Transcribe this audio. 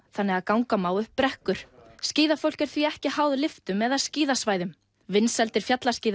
þannig að ganga má upp brekkur skíðafólk er því ekki háð lyftum eða skíðasvæðum vinsældir